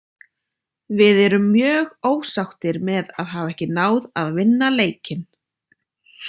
Við erum mjög ósáttir með að hafa ekki náð að vinna leikinn.